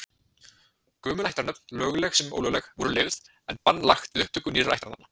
Gömul ættarnöfn, lögleg sem ólögleg, voru leyfð, en bann lagt við upptöku nýrra ættarnafna.